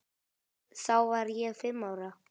Þá var ég fimm ára.